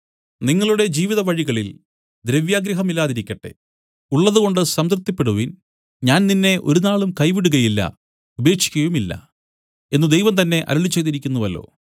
നിങ്ങളുടെ ജീവിതവഴികളിൽ ദ്രവ്യാഗ്രഹമില്ലാതിരിക്കട്ടെ ഉള്ളതുകൊണ്ട് സംതൃപ്തിപ്പെടുവിൻ ഞാൻ നിന്നെ ഒരുനാളും കൈവിടുകയില്ല ഉപേക്ഷിക്കുകയുമില്ല എന്നു ദൈവം തന്നെ അരുളിച്ചെയ്തിരിക്കുന്നുവല്ലോ